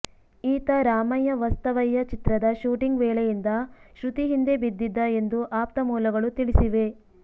ಈತ ರಾಮಯ್ಯ ವಸ್ತಾವಯ್ಯ ಚಿತ್ರದ ಶೂಟಿಂಗ್ ವೇಳೆಯಿಂದ ಶೃತಿ ಹಿಂದೆ ಬಿದ್ದಿದ್ದ ಎಂದು ಆಪ್ತ ಮೂಲಗಳು ತಿಳಿಸಿವೆ